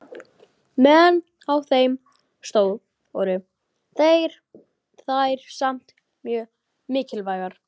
Meðan á þeim stóð voru þær samt mjög mikilvægar.